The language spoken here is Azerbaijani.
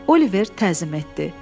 Oliver təzim etdi.